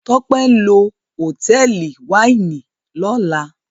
Tope nlọ Hotẹẹli Wáìnì ló là.